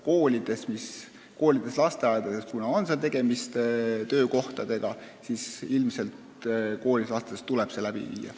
Kuna koolides ja lasteaedades on tegemist töökohtadega, siis ilmselt ka koolides ja lasteaedades tuleb see läbi viia.